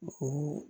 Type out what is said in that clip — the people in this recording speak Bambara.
O